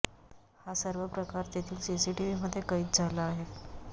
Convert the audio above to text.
हा सर्व प्रकार तेथील सीसीटीव्हीमध्ये कैद झाला आहे